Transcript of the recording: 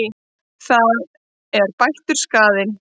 Það er bættur skaðinn.